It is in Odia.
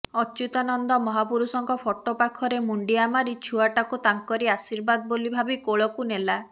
ଅଚ୍ୟୁତାନନ୍ଦ ମହାପୁରୁଷଙ୍କ ଫଟୋ ପାଖରେ ମୁଣ୍ଡିଆମାରି ଛୁଆଟାକୁ ତାଙ୍କରି ଆଶୀର୍ବାଦ ବୋଲି ଭାବି କୋଳକୁନେଲା